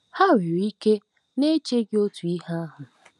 Ha nwere ike na-eche gị otu ihe ahụ.